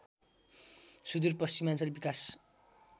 सुदूरपश्चिमाञ्चल विकास